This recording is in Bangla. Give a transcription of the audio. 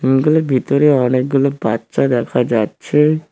ভিতরে অনেকগুলো বাচ্চা দেখা যাচ্ছে।